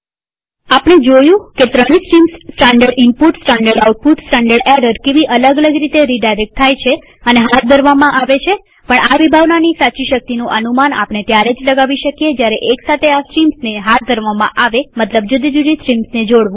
આપણે જોયું કે ત્રણેય streams standard input standard output standard error કેવી અલગ અલગ રીતે રીડાયરેક્ટ થાય છે અને હાથ ધરવામાં આવે છેપણ આ વિભાવનાની સાચી શક્તિનું અનુમાન આપણે ત્યારે લગાવી શકીએ જયારે એક સાથે આ સ્ટ્રીમ્સને હાથ ધરવામાં આવેમતલબ જુદી જુદી સ્ટ્રીમ્સને જોડવું